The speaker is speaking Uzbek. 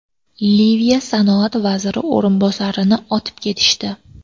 Liviya sanoat vaziri o‘rinbosarini otib ketishdi.